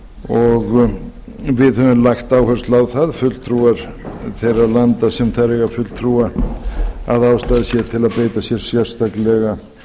og við höfum lagt áherslu á það fulltrúar þeirra landa sem þar eiga fulltrúa að ástæða sé til að beita sér sérstaklega